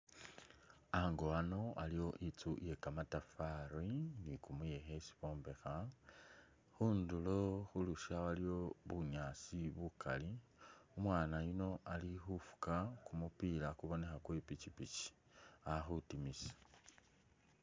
Ango ano aliwo inzu iye kamatafari ni kumuyekhe isi bombekha, khundulo khu lusya waliwo bunyaasi bukali, umwaana yuno ali khu fuuka kumupila kuboneka kwe i'pikipiki ali khutimisa.